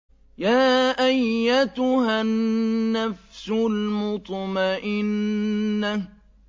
يَا أَيَّتُهَا النَّفْسُ الْمُطْمَئِنَّةُ